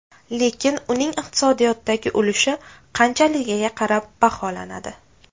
Lekin uning iqtisodiyotdagi ulushi qanchaligiga qarab baholanadi.